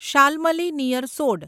Shalmali near સોડ